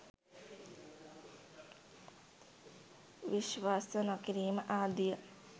විශ්වාස නොකිරීම ආදිය